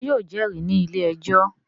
Ṣé yóò jẹ́rìí ní ilé-ẹjọ́?